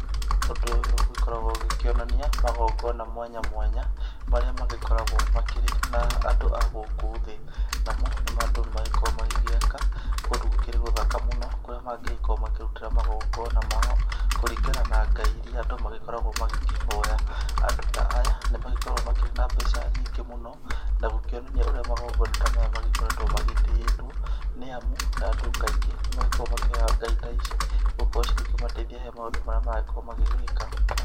Ũndũ ũyũ ũgĩkoragwo ũgĩkĩonania magongona mwanya mwanya marĩa magĩkoragwo makĩrĩ na andũ agũkũ thĩ namo andũ nĩ makoragwo magĩgĩaka kũndũ gũkĩrĩ gũthaka mũno kũrĩa magĩkorwo makĩrutĩra magongona mao kũringana na Ngai iria andũ magĩkoragwo magĩkĩhoya ,andũ ta aya nĩ magĩkkoragwo na mbeca nyingĩ mũno na gũkĩonania ũrĩa magona ta maya magĩkoretwo magĩtĩĩtwo nĩ amu andũ kaingĩ nĩ makoragwo makĩhoya ngai ta ici gũgĩkorwo ikĩmateithia harĩ maũndũ marĩa maragĩkorwo magĩgĩka.